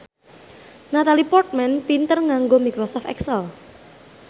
Natalie Portman pinter nganggo microsoft excel